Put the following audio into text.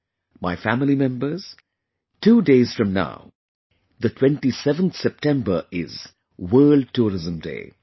My family members, two days from now, the 27th September, is 'World Tourism Day'